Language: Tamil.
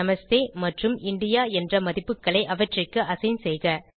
நமஸ்தே மற்றும் இந்தியா என்ற மதிப்புகளை அவற்றிற்கு அசைன் செய்க